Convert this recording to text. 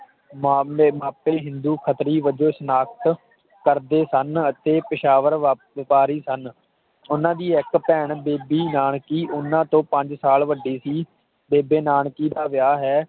ਮਾਮਲੇ ਮਾਪੇ ਹਿੰਦੂ ਖੱਤਰੀ ਵਜੋਂ ਸਨਾਤ ਕਰਦੇ ਸਨ ਅਤੇ ਪੇਸ਼ਾਵਰ ਵੇਪ ਵਪਾਰੀ ਸਨ ਓਹਨਾ ਦੀ ਇਕ ਭੈਣ ਬੀਬੀ ਨਾਨਕੀ ਓਹਨਾ ਤੋਂ ਪੰਜ ਸਾਲ ਵੱਡੀ ਸੀ ਬੇਬੇ ਨਾਨਕੀ ਦਾ ਵੇਆਹ ਹੈ